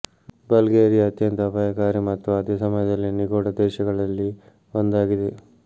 Bulgaria ಅತ್ಯಂತ ಅಪಾಯಕಾರಿ ಮತ್ತು ಅದೇ ಸಮಯದಲ್ಲಿ ನಿಗೂಢ ದೇಶಗಳಲ್ಲಿ ಒಂದಾಗಿದೆ